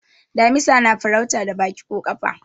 damisa na farauta da Baki ko kafa